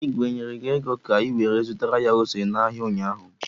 Igwe e nyere gi ego ka iwere zutara ya ose n'ahịa ụnyaahụ?